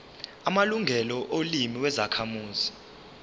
amalungelo olimi lwezakhamuzi